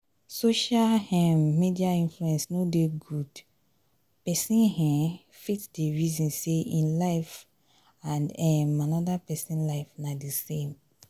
social um media influence no dey good pesin um fit dey resin sey ein life and um anoda pesin life na di same.